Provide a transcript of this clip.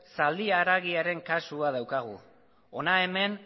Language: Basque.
zaldi haragiaren kasua daukagu hona hemen